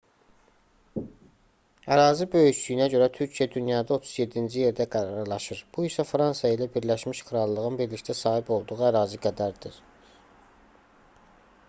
ərazi böyüklüyünə görə türkiyə dünyada 37-ci yerdə qərarlaşır bu isə fransa ilə birləşmiş krallığın birlikdə sahib olduğu ərazi qədərdir